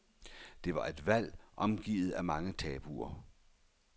Det er et valg omgivet af mange tabuer.